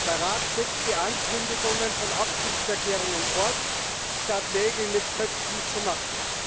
Der Rat setzt die Ankündigungen von Absichtserklärungen fort, statt Nägel mit Köpfen zu machen.